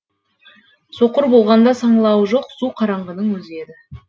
соқыр болғанда саңылауы жоқ су қараңғының өзі еді